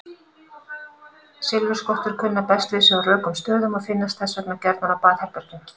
Silfurskottur kunna best við sig á rökum stöðum og finnast þess vegna gjarnan á baðherbergjum.